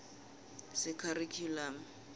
sekharikhyulamu